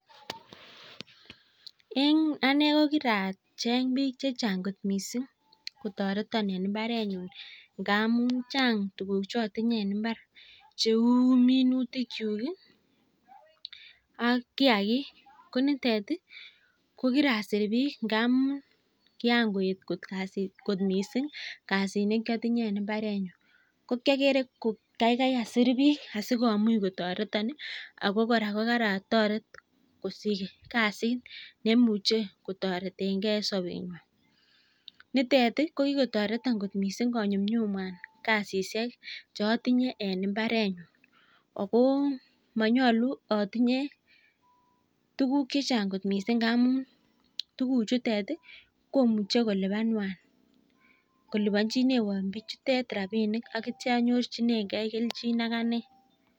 Eng anee kiracheng bik chechang kotoreto eng imbaret nyuu amuu oo kasit eng imbaret nyuu nitet ii ko kikonyumnyum kasit eng imbaret nyuu